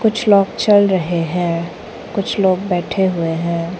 कुछ लोग चल रहे हैं कुछ लोग बैठे हुए हैं।